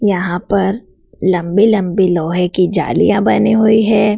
यहां पर लंबी लंबी लोहे की जालियां बनी हुई है।